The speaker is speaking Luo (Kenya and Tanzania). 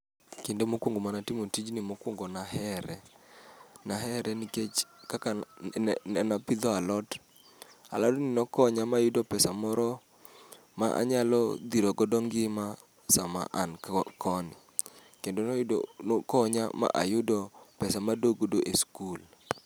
Kinde mokuongo mane atimo tijni mokuongo ne ahere. Nahere nikech kaka ne apidho alot, alodni nokonya ma ayudo pesa moro manyalo dhiro godo ngima sama an koni. Kendo nokonya mayudo pesa]cs] ma aadok godo e sikul.